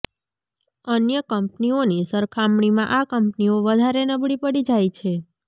અન્ય કંપનીઓની સરખામણીમાં આ કંપનીઓ વધારે નબળી પડી જાય છે